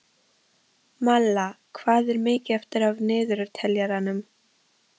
Malla, hvað er mikið eftir af niðurteljaranum?